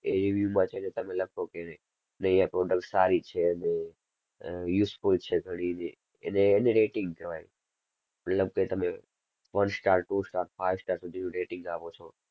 review માં જઈને તમે લખો કે નહીં આ product સારી છે ને આહ useful છે ઘણી ને એને, એને rating કહેવાય મતલબ કે તમે one star two star five star સુધી rating આપો છો.